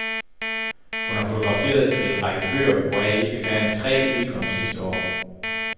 Hun har fotograferet til en række bøger, hvoraf ikke færre end tre udkom sidste år.